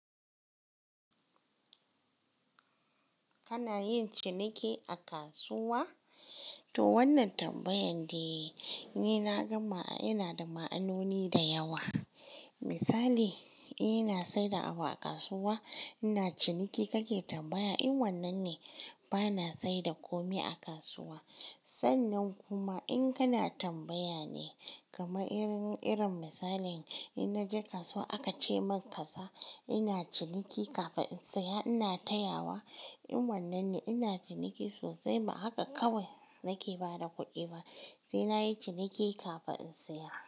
Kana yin ciniki a kasuwa? To wannan tambayan dai ni na gama yana da ma'anoni da yawa. Misali, ina saida abu a kasuwa, ina ciniki kake tambaya in wannan ne bana saida komi a kasuwa. Sannan kuma in kana tambaya ne kamar irin-irin misalin, ina na je kasuwa aka ce min kaza ina ciniki kafin in saya ina tayawa in wannan ne ina ciniki sosai ba haka kawai nake ba da kuɗi ba. Sai nayi ciniki kafin in saya.